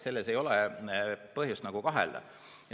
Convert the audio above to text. Selles ei ole põhjust kahelda.